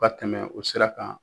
O ka tɛmɛ o sira kan